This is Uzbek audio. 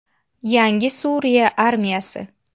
Yangi Suriya armiyasi.